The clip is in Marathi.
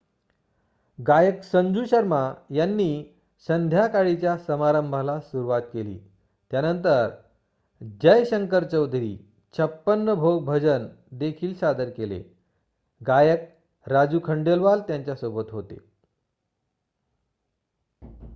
गायक संजू शर्मा यांनी संध्याकाळीच्या समारंभाला सुरवात केली त्यानंतर जय शंकर चौधरी छप्पन भोग भजन देखील सादर केले गायक राजू खंडेलवाल त्यांच्या सोबत होते